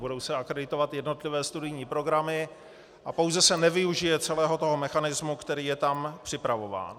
Budou se akreditovat jednotlivé studijní programy a pouze se nevyužije celého toho mechanismu, který je tam připravován.